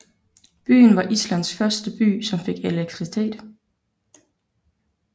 Byen var Islands første by som fik elektricitet